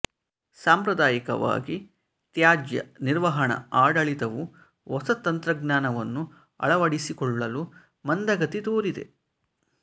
ಸಾಂಪ್ರದಾಯಿಕವಾಗಿ ತ್ಯಾಜ್ಯ ನಿರ್ವಹಣಾ ಆಡಳಿತವು ಹೊಸ ತಂತ್ರಜ್ಮಾನವನ್ನು ಅಳವಡಿಸಿಕೊಳ್ಳಲು ಮಂದಗತಿ ತೋರಿದೆ